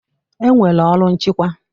E nwere ọrụ nchịkwa.